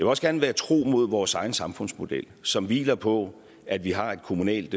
også gerne være tro mod vores egen samfundsmodel som hviler på at vi har et kommunalt